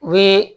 U ye